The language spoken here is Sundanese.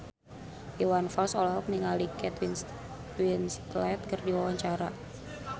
Iwan Fals olohok ningali Kate Winslet keur diwawancara